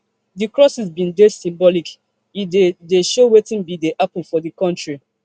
di crosses bin dey symbolic e dey dey show wetin bin dey happun for di kontri